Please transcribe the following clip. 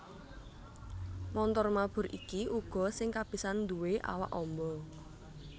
Montor mabur iki uga sing kapisan nduwé awak amba